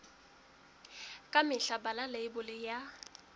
ka mehla bala leibole ya